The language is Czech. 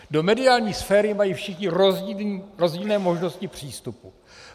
Do mediální sféry mají všichni rozdílné možnosti přístupu.